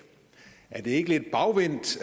er det ikke lidt bagvendt